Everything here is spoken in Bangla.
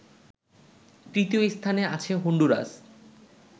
তৃতীয় স্থানে আছে হন্ডুরাস